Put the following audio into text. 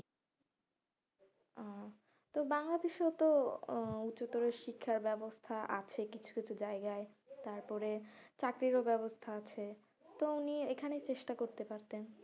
আহ তো বাংলাদেশেও তো আহ উচ্চতর শিক্ষার ব্যবস্থা আছে কিছুকিছু জায়গায় তারপরে চাকরিও ব্যবস্থা আছে তো উনি এখানে চেষ্টা করতে পারতেন,